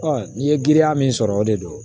n'i ye girinya min sɔrɔ o de don